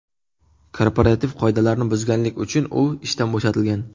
Korporativ qoidalarni buzganlik uchun u ishdan bo‘shatilgan.